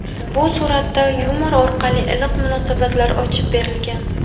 Bu suratda yumor orqali iliq munosabatlar ochib berilgan.